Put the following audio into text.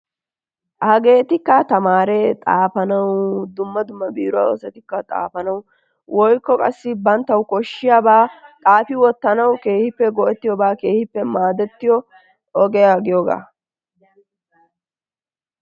Hageetikka xaafanawu, tamaaretikka xaafanawu, biiruwa asatikka xaafanawu/qassi banttawu koshshiyabaa xaafi wottanawu keehippe go'ettiyobaa, keehippe maadettiyobaa ogiya giyogaa.